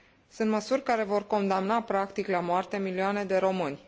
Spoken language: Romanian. Sunt măsuri care vor condamna, practic, la moarte milioane de români.